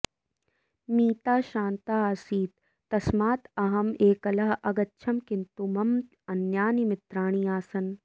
मीता श्रान्ता आसीत् तस्मात् अहम् एकलः अगच्छम् किन्तु मम अन्यानि मित्राणि आसन्